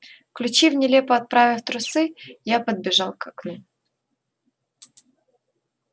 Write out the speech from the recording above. включив нелепо оправив трусы я подбежал к окну